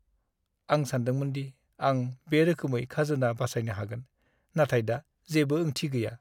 आं सानदोंमोन दि आं बे रोखोमै खाजोना बासायनो हागोन, नाथाय दा जेबो ओंथि गैया।